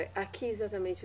Aqui, exatamente.